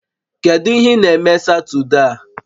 Kedu ihe ị na-eme Satọde a?